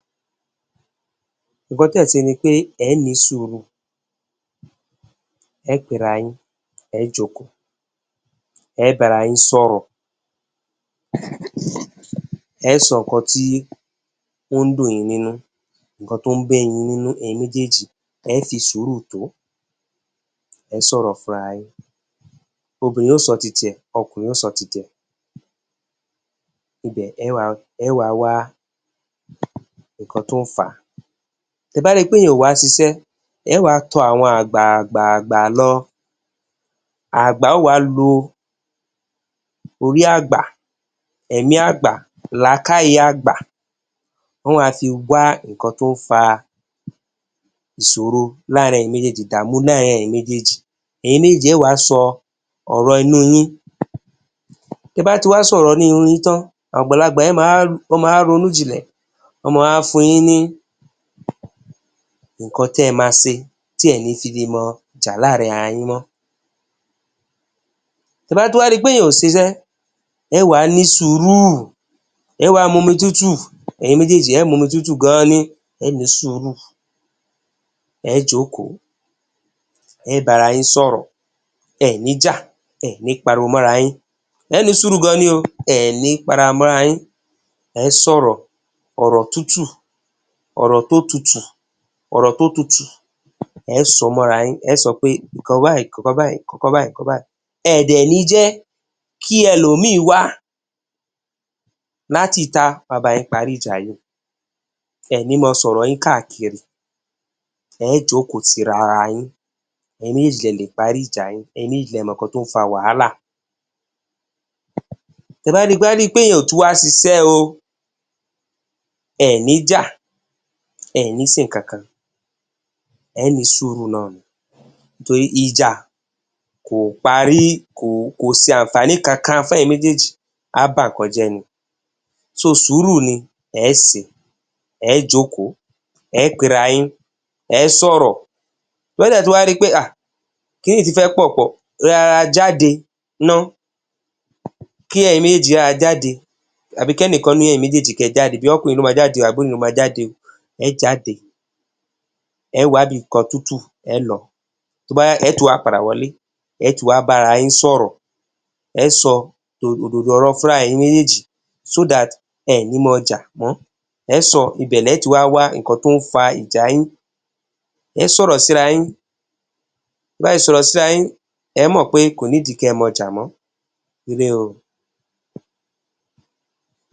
Ǹkan tí ẹ̀sẹ̀ ní pé ẹ ní sùúrù, ẹ pé ara yín, ẹ jókòó, ẹ bá ara yín sọ̀rọ̀. Ẹ sọ ọkàn tí ó ń dùn yín, nínú ǹkan tí ó ń bí yín nínú. Ẹyin méjèèjì, ẹ fi sùúrù tó, ẹ sọ̀rọ̀ fúnra yín. Obìnrin ó sọ títí ẹ, ọkùnrin ó sọ títí ẹ. Ibè lé wá wá ǹkan tó fà. Tí ẹ bá rí pé iyẹn ò wà, ṣíṣe ẹ wá tó. Àwọn àgbà gbà gbà ló. Àgbà ò wá, ló orí àgbà. Èmí àgbà, làkàiyé àgbà. Wọ́n wá fi wá ǹkan tó fà ìṣòro láàrin ẹyin méjèèjì, ìdààmú láàrin ẹyin méjèèjì. Ẹyin méjèèjì ẹ wá sọ ọ̀rọ̀ ẹnu yín. Tí ẹ bá ti wá sọ ọ̀rọ̀ ẹnu yín tán, àgbàlagbà yẹn máa wá ronú jínlẹ̀. Ọmọ, àwa fún yín ní ǹkan témá ṣe tí ẹ ní fi lè máa já láàrin ara yín mọ́. Tí ẹ bá tún wá rí pé iyẹn ò ṣíṣe ẹ wá ní sùúrù. Ẹ wá mú omi tútù. Ẹyin méjèèjì ẹ mú omi tútù gan-an ni. Ẹ ní sùúrù, ẹ jókòó, ẹ bá ara yín sọ̀rọ̀. Ẹni já, ẹni pàríwọ̀ mọ́ ará yín, ẹni sùúrù gan-an ni ó. Ẹni kàn rá mọ́ ara yín, ẹ sọ ọ̀rọ̀. Ọ̀rọ̀ tútù, ọ̀rọ̀ tó tútù. Ẹ sọ fún ara yín, ẹ sọ pé: "Ǹkan báyìí… ǹkan báyìí." Ẹ má jẹ́ kí ẹlòmíì wá láti ita wá pàrí ìjà yín. Ẹni máa sọ̀rọ̀ yín kákírí, ẹ jókòó ti ara yín. Ẹyin méjèèjì lẹ lè pàrí ìjà yín. Ẹyin méjèèjì lè mọ̀ ǹkan tó ń fà wahalà. Tí ẹ bá rí pé yìí ò tún wá ṣíṣe o, ẹni já, ẹni ṣe nǹkan kan. Ẹ ó ní sùúrù nání torí ìjà kò parí, kò ṣe ànfàní kankan fún ẹyin méjèèjì. A bà ǹkan jẹ. Ní sùúrù ni ẹ ṣe. Ẹ jókòó, ẹ pé ara yín, ẹ sọ̀rọ̀. Tí ẹ bá ti wá rí ọ́ ẹ, kín íyì tífẹ̀ pọ̀, rọ́ra jáde. Ná kí ẹyin méjèèjì yà jáde, àbí kí ẹnikan nínú ẹyin méjèèjì yà jáde. Bóyá ọkùnrin ló máa jáde, àbí obìnrin ló máa jáde, ẹ jáde. Ẹ wá ibi kan tútù lọ. Tó bá yá, ẹ tún wá padà wọlé. Ẹ tún wá bá ara yín sọ̀rọ̀. Ẹ sọ òdodo ọ̀rọ̀ fúnra yín. Ẹyin méjèèjì kí ẹ má bà a májá. Kẹ wo ǹkan tó fà ìjà yín. Tí ẹ bá ti bá ara yín sọ̀rọ̀, ẹ ó mọ̀ pé kò nílò kí ẹ máa já mọ́.